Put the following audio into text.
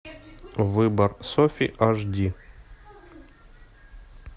выбор софи аш ди